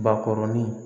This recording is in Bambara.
Bakɔrɔnin